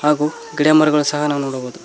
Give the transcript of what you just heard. ಹಾಗು ಗಿಡಮರಗಳು ಸಹ ನಾವು ನೋಡಬಹುದು.